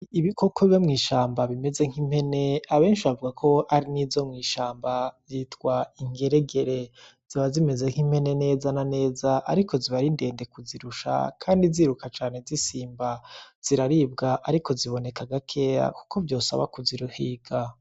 Ibikoko biba mw'ishamba bimeze nk'impene, abenshi bavuga ko arizo mw'ishamba zitwa ingeregere ziba zimeze nk'impene neza na neza ariko ziba ari ndende kuzirusha kandi ziruka cane zisimba, ziraribwa ariko ziboneka gakeya kuko vyosaba kuzihiga.